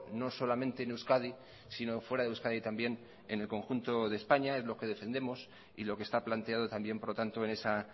no solamente en euskadi sino fuera de euskadi también en el conjunto de españa es lo que defendemos y lo que está planteado también por lo tanto en esa